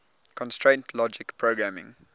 constraint logic programming